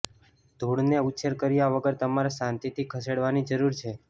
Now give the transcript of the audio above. ધૂળને ઉછેર કર્યા વગર તમારે શાંતિથી ખસેડવાની જરૂર છે